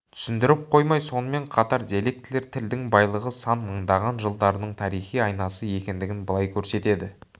түсіндіріп қоймай сонымен қатар диалектілер тілдің байлығы сан мыңдаған жылдардың тарихи айнасы екендігін былай көрсетеді